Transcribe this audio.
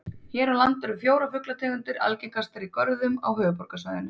Hér á landi eru fjórar fuglategundir algengastar í görðum á höfuðborgarsvæðinu.